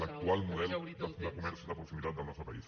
l’actual model de comerç de proximitat del nostre país